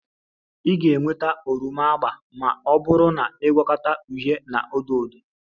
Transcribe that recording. Ị ga-enweta oroma agba ma ọ bụrụ na ị na-agwọkọta uhie na odo odo